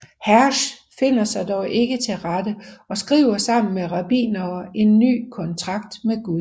Hersch finder sig dog ikke til rette og skriver sammen med rabbinere en ny kontrakt med Gud